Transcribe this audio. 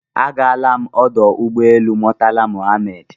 Agaala m ọdụ ụgbọelu Murtala Muhammed